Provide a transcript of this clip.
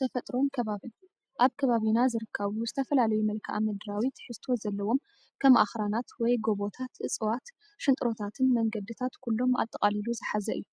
ተፈጥሮን ከባብን፡- ኣብ ከባቢና ዝርከቡ ዝተፈላለዩ መልክኣ-ምድራዊ ትሕዝቶ ዘለዎም ከም ኣኽራናት ወይ ጎቦታት፣ እፅዋት፣ ሽንጥሮታትን መንገዲታት ኩሎም ኣጠቓሊሉ ዝሓዘ እዩ፡፡